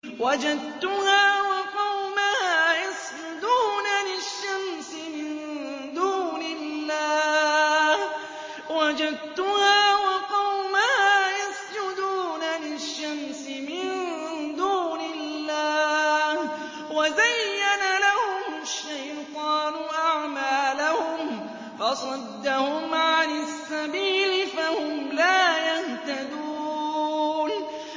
وَجَدتُّهَا وَقَوْمَهَا يَسْجُدُونَ لِلشَّمْسِ مِن دُونِ اللَّهِ وَزَيَّنَ لَهُمُ الشَّيْطَانُ أَعْمَالَهُمْ فَصَدَّهُمْ عَنِ السَّبِيلِ فَهُمْ لَا يَهْتَدُونَ